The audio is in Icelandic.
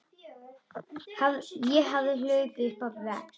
Ég hafði hlaupið á vegg.